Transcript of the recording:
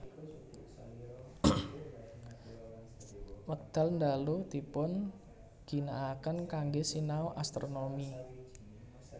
Wekdal ndalu dipun ginakaken kanggé sinau astronomi